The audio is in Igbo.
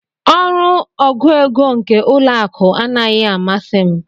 Ọrụ ọgụ égo nke ụlọ akụ anaghị amasi m.